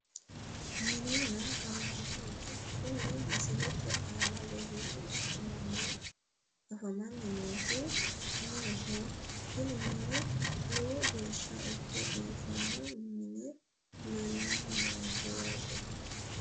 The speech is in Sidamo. Minenna gallanni mine kuni misiete aana leellanni afamanni noohu mineho kuni mini lowo geeshsha ikke biifino mini leellanni noonke yaate